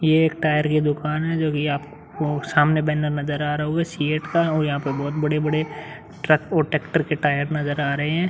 ये एक टायर की दुकान है जोकि आपको सामने बैनर नजर आ रहा होगा सीएट का और यहाँ पर बहोत बड़े-बड़े ट्रक और ट्रैक्टर के टायर नजर आ रहे है।